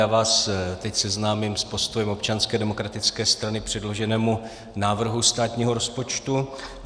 Já vás teď seznámím s postojem Občanské demokratické strany k předloženému návrhu státního rozpočtu.